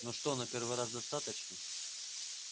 ну что на первый раз достаточно